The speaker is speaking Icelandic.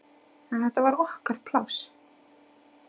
En þetta var okkar pláss.